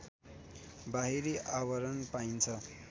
बाहिरी आवरण पाइन्छ